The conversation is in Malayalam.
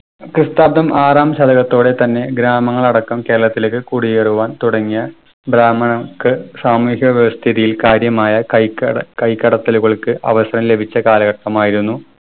ക്രിസ്താബ്ദം ആറാം ശതകത്തോടെ തന്നെ ഗ്രാമങ്ങളടക്കം കേരളത്തിലേക്ക് കുടിയേറുവാൻ തുടങ്ങിയ ബ്രഹ്മിണർക്ക് സാമൂഹ്യവ്യവസ്ഥതിയിൽ കാര്യമായ കയ്ക്ക കൈക്കടത്തലുകൾക്ക് അവസരം ലഭിച്ച കാലഘട്ടമായിരുന്നു